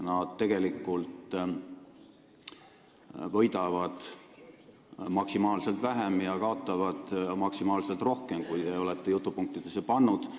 Nad tegelikult võidavad maksimaalselt vähem ja kaotavad maksimaalselt rohkem, kui te olete oma jutupunktidesse pannud.